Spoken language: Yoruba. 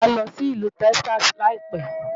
Wàá lọ sí ìlú Texas láìpẹ́.